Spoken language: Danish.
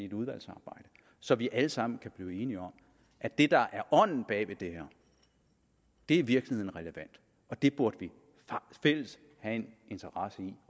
et udvalgsarbejde så vi alle sammen kan blive enige om at det der er ånden bag ved det her i virkeligheden er relevant og det burde vi fælles have en interesse i